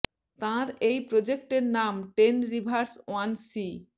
তাঁর এই প্রজেক্টের নাম টেন রিভারস ওয়ান সি